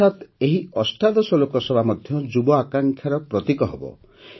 ଅର୍ଥାତ୍ ଏହି ଅଷ୍ଟାଦଶ ଲୋକସଭା ମଧ୍ୟ ଯୁବ ଆକାଂକ୍ଷାର ପ୍ରତୀକ ହେବ